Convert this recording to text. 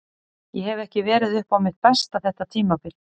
Ég hef ekki verið upp á mitt besta þetta tímabil.